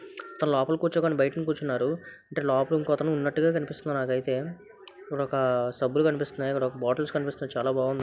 లోపల కూర్చోకుండా బయటన కూర్చున్నారు అంటె లోపల ఇంకో అతను ఉన్నట్టు కనిపిస్తున్నారు నాకైతె ఇక్కడ ఒక సబ్బులు కనిపిస్తున్నాయి అడ బాటిల్స్ కనిపిస్తున్నాయి చాలా బాగుంది.